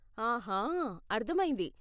ఆహా, అర్ధమైంది.